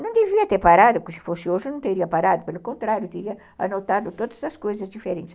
Não devia ter parado, porque se fosse hoje eu não teria parado, pelo contrário, teria anotado todas essas coisas diferentes.